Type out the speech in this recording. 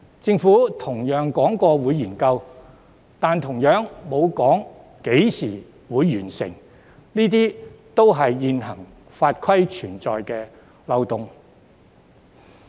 政府同樣說過會進行研究，但同樣沒有提出會在何時完成，這些也是現行法例存在的漏洞。